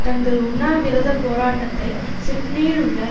தங்கள் உண்ணாவிரத போராட்டத்தை சிட்னியில் உள்ள